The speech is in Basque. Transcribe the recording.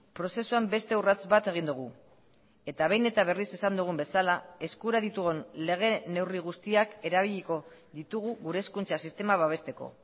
prozesuan beste urrats bat egin dugu eta behin eta berriz esan dugun bezala eskura ditugun lege neurri guztiak erabiliko ditugu gure hezkuntza sistema babesteko